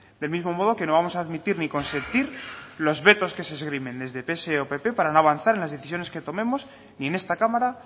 del mismo modo que no vamos a admitir ni consentir los vetos que se esgrimen desde psoe o pp para no avanzar en las decisiones que tomemos ni en esta cámara